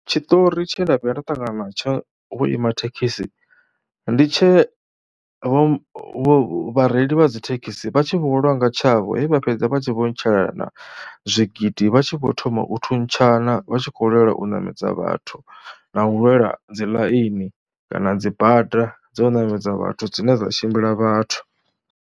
Tshiṱori tshe nda vhuya nda ṱangana natsho vhuimathekhisi ndi tshe vho vhareili vha dzi thekhisi vha tshi vho lwa nga tshavho, he vha fhedza vha tshi vho ntshelana zwigidi. Vha tshi vho thoma u thuntshana, vha tshi khou lwela u ṋamedza vhathu na u lwela dzi ḽaini kana dzi bada dzo ṋamedza vhathu dzine dza tshimbila vhathu.